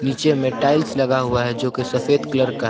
नीचे में टाइल्स लगा हुआ हैं जो की सफेद कलर का है।